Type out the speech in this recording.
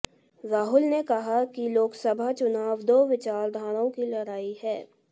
राहुल ने कहा कि लोकसभा चुनाव दो विचारधाराओं की लड़ाई है